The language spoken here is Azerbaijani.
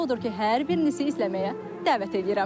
Odur ki, hər birinizi izləməyə dəvət eləyirəm.